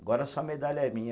Agora a sua medalha é minha.